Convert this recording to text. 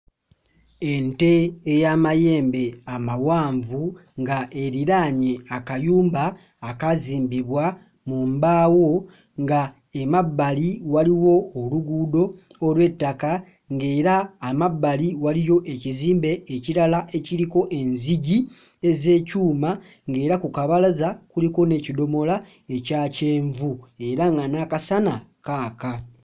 Ente ey'amayembe amawanvu nga eriraanye akayumba akaazimbibwa mu mbaawo nga emabbali waliwo oluguudo olw'ettaka ng'era amabbali waliyo ekizimbe ekirala ekiriko enzigi ez'ekyuma ng'era ku kabalaza kuliko n'ekidomola ekya kyenvu era nga n'akasana kaaka.